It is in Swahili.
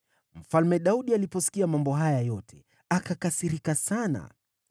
Mfalme Daudi aliposikia mambo haya yote, akakasirika sana.